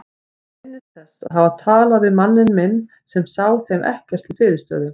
Hann minnist þess að hafa talað við manninn minn sem sá þeim ekkert til fyrirstöðu.